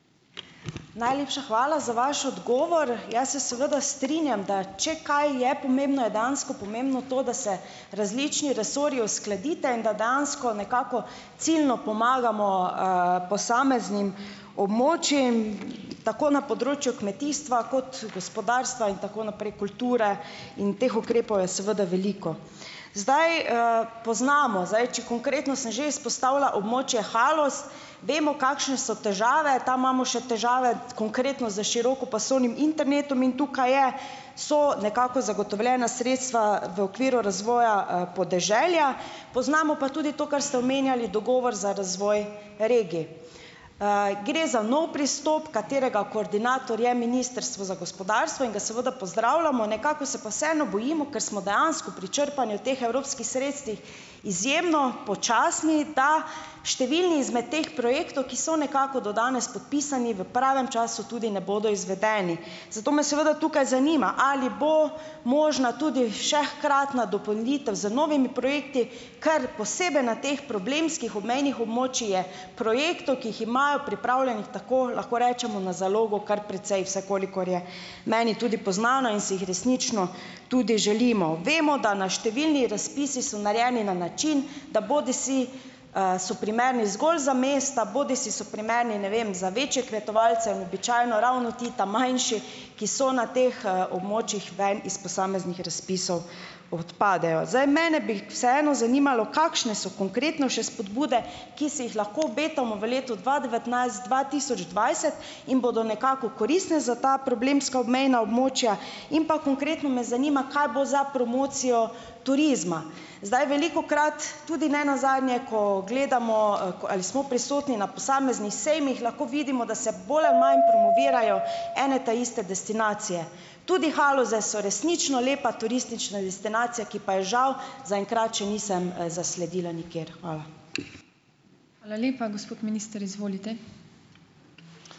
Najlepša hvala za vaš odgovor. Jaz se seveda strinjam, da če kaj je pomembno, je dejansko pomembno to, da se različni resorji uskladite in da dejansko nekako ciljno pomagamo, posameznim območjem, tako na področju kmetijstva kot gospodarstva in tako naprej, kulture, in teh ukrepov je seveda veliko. Zdaj, poznamo zdaj, če konkretno sem že izpostavila območje Haloz, vemo, kakšne so težave, tam imamo še težave, konkretno s širokopasovnim internetom in tukaj je, so nekako zagotovljena sredstva v okviru razvoja, podeželja, poznamo pa tudi to, kar ste omenjali dogovor za razvoj regij. Gre za nov pristop, katerega koordinator je Ministrstvo za gospodarstvo, in ga seveda pozdravljamo, nekako se pa vseeno bojimo, ker smo dejansko pri črpanju teh evropskih sredstev izjemno počasni, da številni izmed teh projektov, ki so nekako do danes podpisani, v pravem času tudi ne bodo izvedeni. Zato me seveda tukaj zanima, ali bo možna tudi še hkratna dopolnitev z novimi projekti, ker posebej na teh problemskih obmejnih območjih je projektov, ki jih imajo pripravljenih, tako, lahko rečemo na zalogo, kar precej, vsaj kolikor je meni tudi poznano in si jih resnično tudi želimo. Vemo, da na, številni razpisi so narejeni na način, da bodisi, so primerni zgolj za mesta, bodisi so primerni, ne vem, za večje kmetovalce in običajno ravno ti ta manjši, ki so na teh, območjih, ven iz posameznih razpisov odpadejo. Zdaj, mene bi vseeno zanimalo, kakšne so konkretno še spodbude, ki se jih lahko obetamo v letu dva devetnajst-dva tisoč dvajset in bodo nekako koristne za ta problemska obmejna območja, in pa konkretno me zanima, kaj bo za promocijo turizma. Zdaj velikokrat, tudi ne nazadnje, ko gledamo, ali smo prisotni na posameznih sejmih, lahko vidimo, da se bolj ali manj promovirajo ene ta iste destinacije. Tudi Haloze so resnično lepa turistična destinacija, ki pa je žal za enkrat še nisem, zasledila nikjer. Hvala.